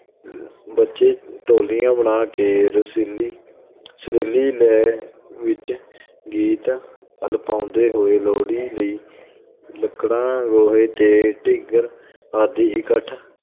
ਬੱਚੇ, ਟੋਲੀਆਂ ਬਣਾ ਕੇ, ਰਸੀਲੀ ਸੁਰੀਲੀ ਲੈਅ ਵਿੱਚ ਗੀਤ ਅਲਪਾਉਂਦੇ ਹੋਏ ਲੋਹੜੀ ਲਈ ਲੱਕੜਾਂ, ਗੋਹੇ ਤੇ ਢਿੰਗਰ ਆਦਿ ਇਕੱਠ